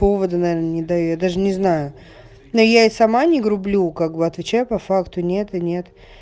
повода наверное даже не знаю но я и сама не грублю как бы отвечай по факту нет и нет